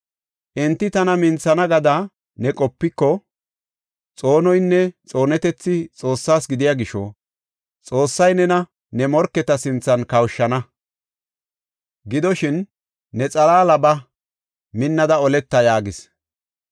Enti tana minthana gada ne qopiko, xoonoynne xoonetethi Xoossaba gidiya gisho Xoossay nena ne morketa sinthan kawushana. Gidoshin, ne xalaala ba; minnada oleta” yaagis.